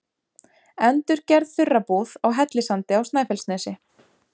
Endurgerð þurrabúð á Hellissandi á Snæfellsnesi.